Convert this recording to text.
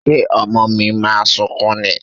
Ṣé ọmọ mi máa sunkún ni?